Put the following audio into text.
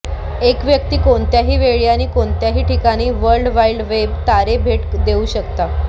एक व्यक्ती कोणत्याही वेळी आणि कोणत्याही ठिकाणी वर्ल्ड वाइड वेब तारे भेट देऊ शकता